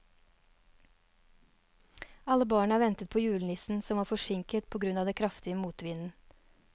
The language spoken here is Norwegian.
Alle barna ventet på julenissen, som var forsinket på grunn av den kraftige motvinden.